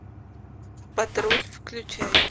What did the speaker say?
патруль включай